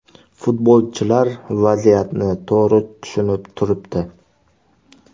Futbolchilar vaziyatni to‘g‘ri tushunib turibdi.